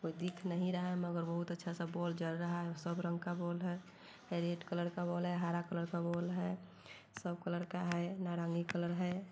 कोई दिख नही रहा मगर बोहोत अच्छा सा बॉल जल रहा है| सब रंग का बॉल है| रेड कलर का बॉल है हरा कलर का बॉल है सब कलर का है नारंगी कलर है।